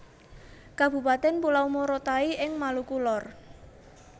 Kabupatèn Pulau Morotai ing Maluku Lor